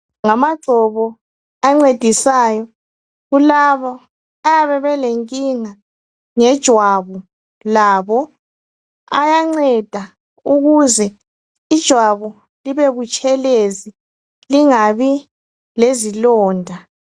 Ngamagcobo ancedisayo kulabo abayabe belenkinga yejwabu labo. Ayanceda ukuze ijwabu libe butshelezi lingabi lezilonda.